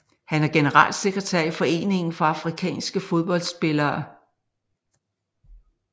Han er generalsekretær i Foreningen for afrikanske fodboldspillere